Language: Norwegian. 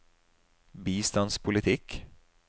bistandspolitikk